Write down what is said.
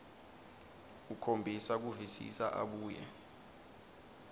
ukhombisa kuvisisa abuye